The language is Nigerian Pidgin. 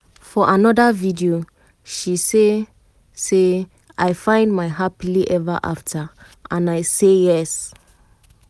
for anoda video she say say “i find my happily eva afta and i say yes!!